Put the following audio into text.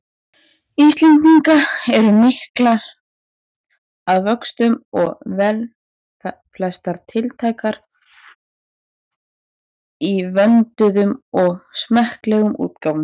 Íslendinga eru miklar að vöxtum og velflestar tiltækar í vönduðum og smekklegum útgáfum.